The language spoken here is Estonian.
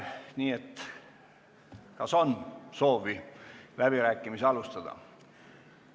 Nii et kas on soovi läbirääkimisi alustada?